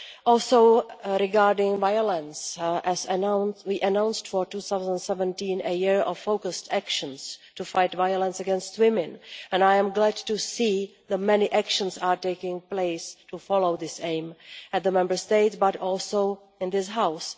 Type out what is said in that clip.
Also, regarding violence, we announced for 2017 a year of focused actions to fight violence against women, and I am glad to see that many actions are taking place to follow this aim not only in the Member States, but also in this House.